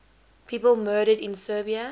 people murdered in serbia